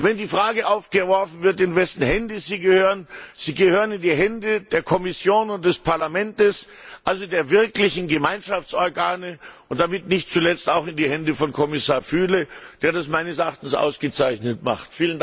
Und wenn die Frage aufgeworfen wird, in wessen Hände sie gehören Sie gehören in die Hände der Kommission und des Parlaments, also der wirklichen Gemeinschaftsorgane, und damit nicht zuletzt auch in die Hände von Kommissar Füle, der das meines Erachtens ausgezeichnet macht.